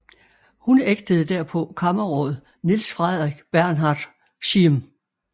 Hun ægtede derpå kammerråd Niels Frederik Bernhard Schiern